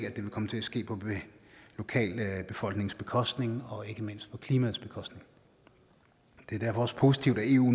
at det vil komme til at ske på lokalbefolkningens bekostning og ikke mindst på klimaets bekostning det er derfor også positivt at eu